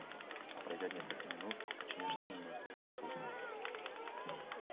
а пройдёт несколько минут очнёшься немного всё пусто